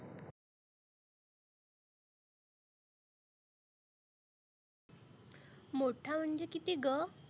मोठा म्हणजे किती गं?